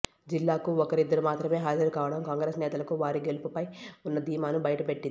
జిల్లాకు ఒకరిద్దరు మాత్రమే హాజరుకావడం కాంగ్రెస్ నేతలకు వారి గెలుపుపై ఉన్న ధీమాను బయటపెట్టింది